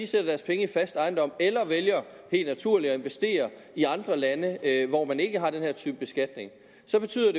sætter deres penge i fast ejendom eller vælger helt naturligt at investere i andre lande hvor man ikke har den her type beskatning så betyder